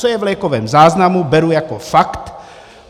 Co je v lékovém záznamu, beru jako fakt.